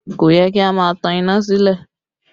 Kò yẹ kí a máa tan iná sílẹ̀